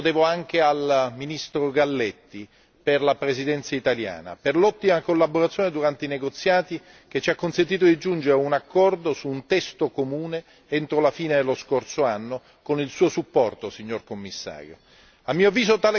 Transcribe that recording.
Un ringraziamento lo devo anche al ministro Galletti per la Presidenza italiana, per l'ottima collaborazione durante i negoziati che ci ha consentito di giungere a un accordo su un testo comune entro la fine dello scorso anno con il suo supporto, signor Commissario.